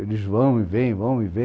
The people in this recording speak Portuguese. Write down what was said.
Eles vão e vêm, vão e vêm.